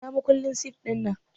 Ina makullin sif ɗinnan?